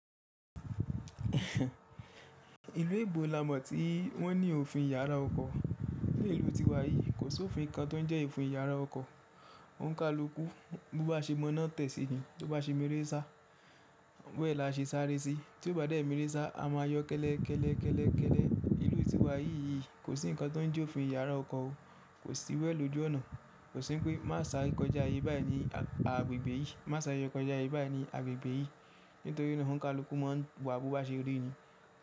Ìlú èbó la mọ̀ tí wọ́n ní òfin ìyára ọkọ̀. Ní ìlú tiwa yìí kò sí òfin kan tó ń jẹ́ òfin ìyára ọkọ̀. Òǹkàlùkú bí ó bá ṣe mọ́nà tẹ̀ sí yín, tó bá ṣe mìírí sá, wẹ̀ la ṣe sáré sí. Tóo ìbàdẹ̀n merésa sá, a máa yọ kẹ́lẹ́ kẹ́lẹ́ kẹ́lẹ́ kẹ́lẹ́. Ìlú tiwa yìí kò sí nǹkan tó ń jẹ́ òfin ìyára ọkọ̀ o. Kò sí iwu ẹ̀ lójú ọ̀nà. Kò sí pé má sá kọjá ibi báyìí ní agbègbè yìí. Má sá yọ kọjá ibi báyìí ní agbègbè yìí nítorí ọ̀nà Òǹkàlùkú máa ń wọ̀ bó bá ṣe rí ni.